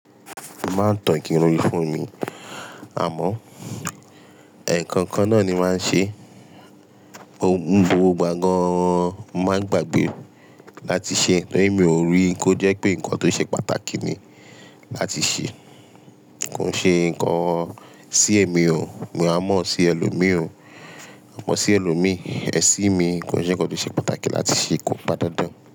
Máa tan kiri fún mi. Àmọ́, ǹkan kan náà ni màá ṣe. Oun gbogbo gbá gan an, màá gbàgbé láti ṣe ẹ̀tọ́ ìmú òru, kó jẹ́ pé nǹkan tó ṣe pàtàkì ni láti ṣe. Kò ń ṣe ǹkan sí ẹ̀mí o, ní àmọ́ sí ẹlòmí o, àmọ́ sí ẹlòmí, ẹṣin mi kò ṣe pé kò ṣe pàtàkì láti ṣe kò bá dandan.